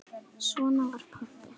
Svona var pabbi.